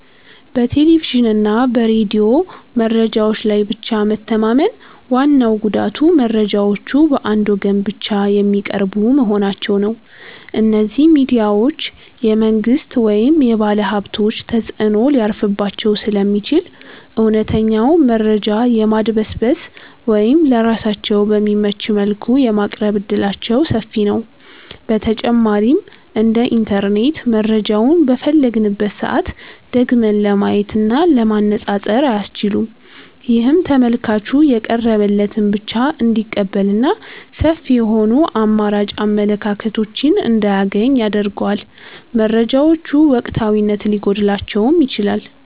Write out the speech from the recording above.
በቴሌቪዥንና በሬዲዮ መረጃዎች ላይ ብቻ መተማመን ዋናው ጉዳቱ መረጃዎቹ በአንድ ወገን ብቻ የሚቀርቡ መሆናቸው ነው። እነዚህ ሚዲያዎች የመንግሥት ወይም የባለሀብቶች ተጽዕኖ ሊያርፍባቸው ስለሚችል፣ እውነተኛውን መረጃ የማድበስበስ ወይም ለራሳቸው በሚመች መልኩ የማቅረብ ዕድላቸው ሰፊ ነው። በተጨማሪም እንደ ኢንተርኔት መረጃውን በፈለግንበት ሰዓት ደግመን ለማየትና ለማነፃፀር አያስችሉም። ይህም ተመልካቹ የቀረበለትን ብቻ እንዲቀበልና ሰፊ የሆኑ አማራጭ አመለካከቶችን እንዳያገኝ ያደርገዋል። መረጃዎቹ ወቅታዊነት ሊጎድላቸውም ይችላል።